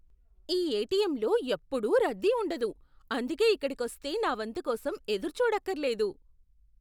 ఈ ఎటిఎంలో ఎప్పుడూ రద్దీ ఉండదు, అందుకే ఇక్కడికొస్తే నా వంతు కోసం ఎదురుచూడక్కర్లేదు.